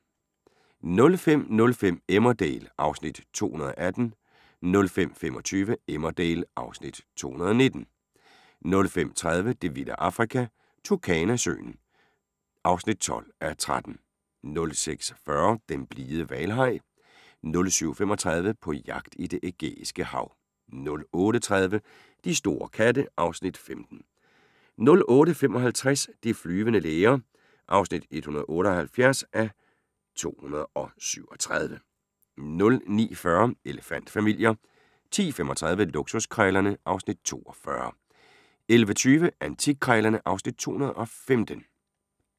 05:05: Emmerdale (Afs. 218) 05:25: Emmerdale (Afs. 219) 05:50: Det vilde Afrika – Turkana-søen (12:13) 06:40: Den blide hvalhaj 07:35: På jagt i Det Ægæiske Hav 08:30: De store katte (Afs. 15) 08:55: De flyvende læger (178:237) 09:40: Elefant-familier 10:35: Luksuskrejlerne (Afs. 42) 11:20: Antikkrejlerne (Afs. 215)